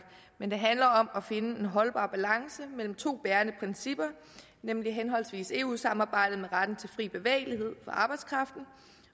men det handler om at finde en holdbar balance mellem to bærende principper nemlig henholdsvis eu samarbejdet med retten til fri bevægelighed for arbejdskraften